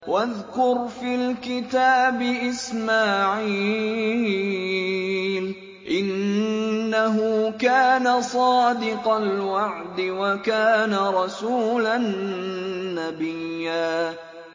وَاذْكُرْ فِي الْكِتَابِ إِسْمَاعِيلَ ۚ إِنَّهُ كَانَ صَادِقَ الْوَعْدِ وَكَانَ رَسُولًا نَّبِيًّا